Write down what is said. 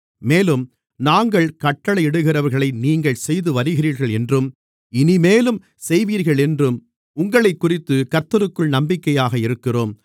மேலும் நாங்கள் கட்டளையிடுகிறவைகளை நீங்கள் செய்துவருகிறீர்களென்றும் இனிமேலும் செய்வீர்களென்றும் உங்களைக்குறித்துக் கர்த்தருக்குள் நம்பிக்கையாக இருக்கிறோம்